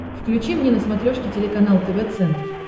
включи мне на смотрешке телеканал тв центр